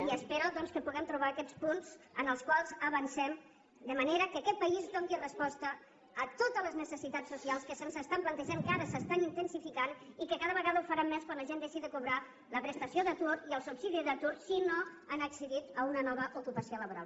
i espero doncs que puguem trobar aquests punts en els quals avancem de manera que aquest país doni resposta a totes les necessitats socials que se’ns estan plantejant que ara s’estan intensificant i que cada vegada ho faran més quan la gent deixi de cobrar la prestació d’atur i el subsidi d’atur si no han accedit a una nova ocupació laboral